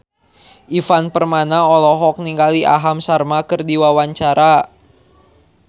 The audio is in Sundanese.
Ivan Permana olohok ningali Aham Sharma keur diwawancara